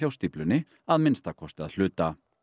stíflunni að minnsta kosti að hluta